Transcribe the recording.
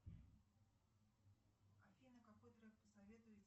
афина какой трек посоветуете